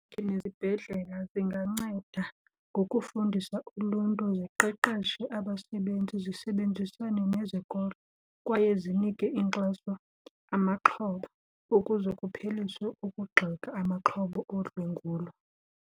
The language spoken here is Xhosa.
nezibhedlela zinganceda ngokufundisa uluntu, ziqeqeshe abasebenzi, zisebenzisane nezikolo kwaye zinike inkxaso amaxhoba ukuze kupheliswe ukugxeka amaxhoba odlwengulo.